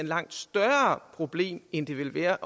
langt større problem end det ville være